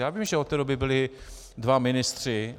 Já vím, že od té doby byli dva ministři.